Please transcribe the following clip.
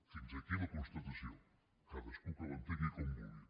fins aquí la constatació cadascú que l’entengui com vulgui